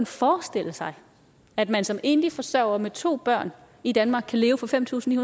forestille sig at man som enlig forsørger med to børn i danmark kan leve for fem tusind